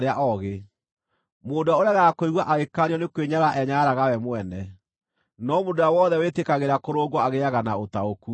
Mũndũ ũrĩa ũregaga kũigua agĩkaanio nĩ kwĩnyarara enyararaga we mwene, no mũndũ ũrĩa wothe wĩtĩkagĩra kũrũngwo agĩĩaga na ũtaũku.